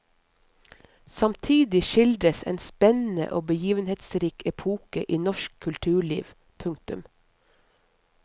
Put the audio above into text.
Samtidig skildres en spennende og begivenhetsrik epoke i norsk kulturliv. punktum